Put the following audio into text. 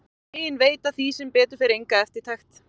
Þau hin veita því sem betur fer enga eftirtekt.